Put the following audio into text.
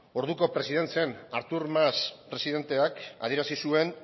orduko presidente zen artur mas presidenteak adierazi zuen